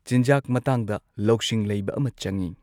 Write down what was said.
ꯆꯤꯟꯖꯥꯛ ꯃꯇꯥꯡꯗ ꯂꯧꯁꯤꯡ ꯂꯩꯕ ꯑꯃ ꯆꯪꯉꯤ꯫